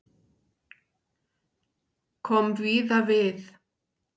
Kom víða við